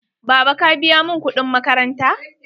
Baba, ka biya mun kuɗin makaranta?